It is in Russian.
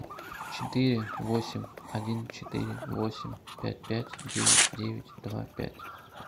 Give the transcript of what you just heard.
четыре восемь один четыре восемь пять пять девять девять два пять